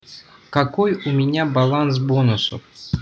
какой у меня баланс бонусов